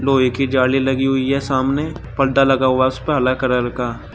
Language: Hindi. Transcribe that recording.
लोहे की जाली लगी हुई है सामने पर्दा लगा हुआ उसपे हला कलर का--